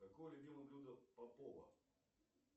какое любимое блюдо попова